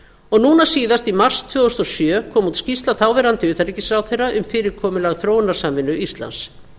og núna síðast í mars tvö þúsund og sjö kom út skýrsla þáverandi utanríkisráðherra um fyrirkomulag þróunarsamvinnu íslands